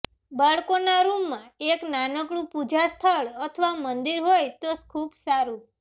બાળકોના રૂમમાં એક નાનકડું પૂજા સ્થળ અથવા મંદિર હોય તો ખૂબ સારું